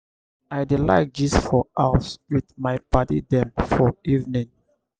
i dey like gist for house wit my paddy dem for evening.